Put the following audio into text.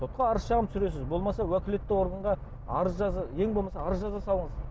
сотқа арыз шағым түсіресіз болмаса уәкілетті органға арыз ең болмаса арыз жаза салыңыз